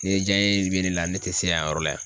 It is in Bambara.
Ni ye jaɲɛ be ne la ,ne te se yan yɔrɔ la.